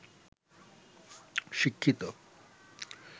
শিক্ষিত